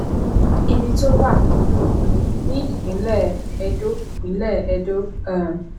ibi tó wà ìlú benin ní ìpínlẹ ẹdó ìpínlẹ ẹdó um